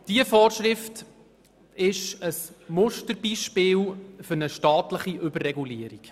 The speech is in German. Diese Vorschrift ist ein Musterbeispiel für eine staatliche Überregulierung.